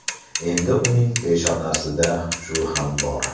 Endi uning peshonasida shu ham bor.